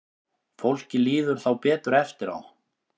Fólki líður þá betur eftir á.